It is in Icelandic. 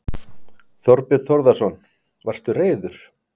Þorbjörn Þórðarson: Varstu reiður?